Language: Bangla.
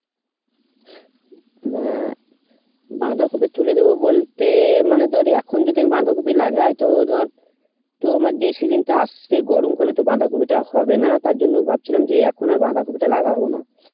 না বাঁধাকপি তুলে দেবো বলতে মানে ধর এখন যদি আমি বাঁধাকপি লাগাই তো ধর তোর আবার যে season টা আসছে গরমকালে তো বাঁধাকপি টা হবে না তার জন্য ভাবছিলাম যে এখন আর বাঁধাকপি টা লাগাবো না